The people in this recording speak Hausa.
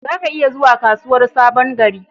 Za ka iya zuwa kasuwar Sabon gari.